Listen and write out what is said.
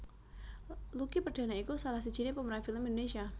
Lucky Perdana iku salah sijiné pemeran film Indonesia